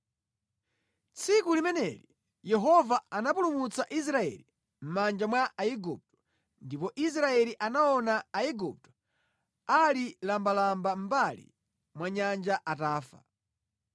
Tsiku limeneli Yehova anapulumutsa Israeli mʼmanja mwa Aigupto ndipo Israeli anaona Aigupto ali lambalamba mʼmbali mwa nyanja atafa